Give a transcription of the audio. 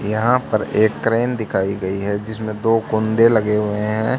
यहां पर एक क्रेन दिखाई गई है जिसमें दो कुंदे लगे हुए हैं।